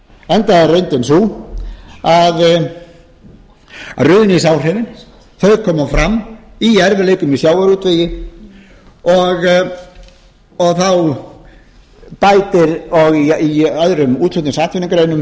enda er reyndin sú að ruðningsáhrifin koma fram í erfiðleikum í sjávarútvegi og í öðrum útflutningsatvinnugreinum ferðaþjónustunni hátækniiðnaðinum og